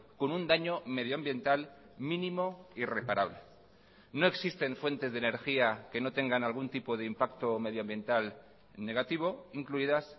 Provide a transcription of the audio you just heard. con un daño medioambiental mínimo y reparable no existen fuentes de energía que no tengan algún tipo de impacto medioambiental negativo incluidas